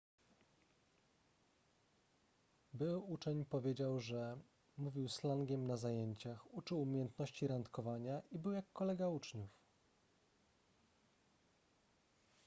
były uczeń powiedział że mówił slangiem na zajęciach uczył umiejętności randkowania i był jak kolega uczniów